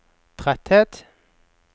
tretthet